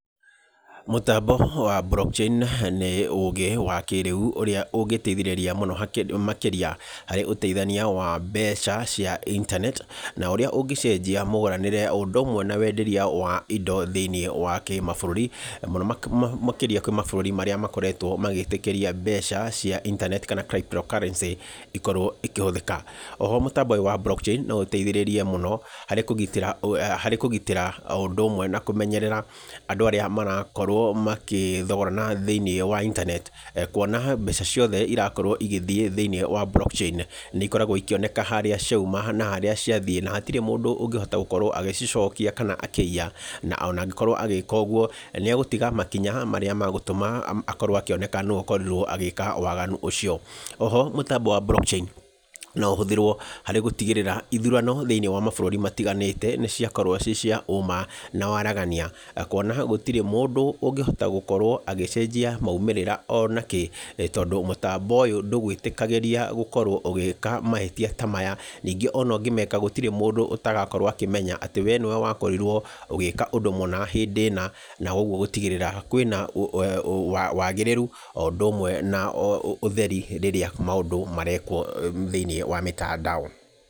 Mũtambo wa Block Chain nĩ ũgĩ wa kĩrĩu ũrĩa ũgĩteithĩrĩria mũno makĩria harĩ ũteithania wa mbeca cia internet na ũrĩa ũngĩcenjia mũgũranĩre o ũndũ ũmwe na wenderia wa indo thĩiniĩ wa kĩmabũrũri, na mũno makĩria kwĩ mabũrũri marĩa makoretwo magĩtĩkĩria mbeca cia internet kana Crypto Currency ikorwo ikĩhũthĩka. Oho mũtambo ũyũ wa Block Chain no ũteithĩrĩrie mũno harĩ kũgitĩra o ũndũ ũmwe na kũmenyerera andũ arĩa marakorwo magĩthogorana thĩiniĩ wa internet. Kuona mbeca ciothe irakorwo igĩthiĩ thĩiniĩ wa Block Chain nĩ ikoragwo ikĩoneka harĩa cioima na harĩa ciathiĩ. Na hatirĩ mũndũ ũngĩhota gũkorwo agĩcicokia kana akĩiya. Na ona angĩkorwo agĩka ũguo nĩ egũtiga makinya marĩa magũtũma akorwo akĩoneka nũũ ũkorirwo agĩka waganu ũcio. O ho mũtambo wa Block Chain no ũhũthĩrwo gũtigĩrĩra ithurano thĩiniĩ wa mabũrũri matiganĩte ni ciakorwo ciĩ cia ũma na waaragania. Kuona atĩ gũtirĩ mũndũ ũngĩhota gũkorwo agĩcenjia moimĩrĩra ona kĩ, tondũ mũtambo ũyũ ndũgwĩtĩkagĩria gũkorwo ũgĩka mahĩtia ta maya. Ningĩ ona ũngĩmeka gũtirĩ mũndũ ũtagakorwo akĩmenya atĩ we nĩwe wakorirwo ũgĩka ũndũ mũna hĩndĩ ĩna. Na ũguo gũtigĩrĩra kwĩna wagĩrĩru o ũndũ ũmwe na o ũtheri rĩrĩa maũndũ marekwo thĩiniĩ wa mitandao.